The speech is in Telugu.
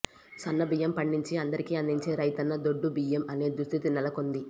సన్నబియ్యం పండించి అందరికి అందించే రైతన్న దొడ్డు బియ్యం తినే దుస్థితి నెలకొంది